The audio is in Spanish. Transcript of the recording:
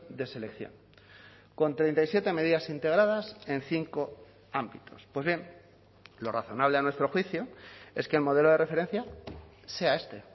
de selección con treinta y siete medidas integradas en cinco ámbitos pues bien lo razonable a nuestro juicio es que el modelo de referencia sea este